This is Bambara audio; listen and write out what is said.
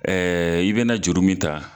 i bɛna juru min ta